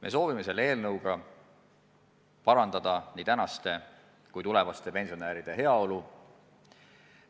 Me soovime sellega parandada nii praeguste kui tulevaste pensionäride heaolu.